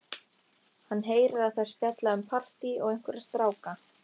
Hann heyrir að þær spjalla um partí og einhverja stráka.